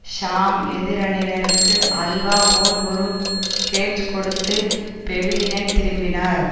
ஷாம் எதிரணியினருக்கு அல்வா போல் ஒரு கேட்ச் கொடுத்து பெவிலியன் திரும்பினார்